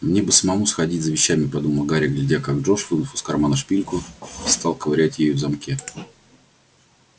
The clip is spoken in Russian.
мне бы надо самому сходить за вещами подумал гарри глядя как джордж вынув из кармана шпильку стал ковырять ею в замке